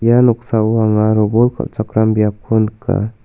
ia noksao anga robol kal·chakram biapko nika.